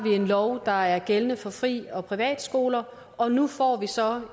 en lov der gælder for frie skoler og privatskoler og nu får vi så